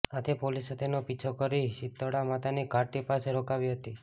આથી પોલીસે તેનો પીછો કરી શિતળામાતાની ઘાટી પાસે રોકાવી હતી